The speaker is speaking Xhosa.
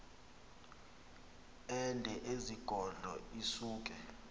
ende ezigodlo isuke